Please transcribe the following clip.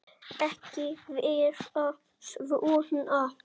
Ekki vera svona þver.